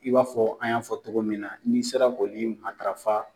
I b'a fɔ an y'a fɔ togo min na n'i sera k'oli matarafa.